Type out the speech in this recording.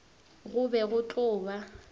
go be go tlo ba